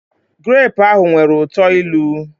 grape ahụ nwere uto ilu